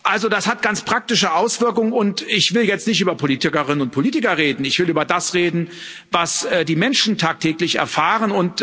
Also das hat ganz praktische Auswirkung, doch ich will jetzt nicht über Politikerinnen und Politiker reden, ich will über das reden, was die Menschen tagtäglich erfahren.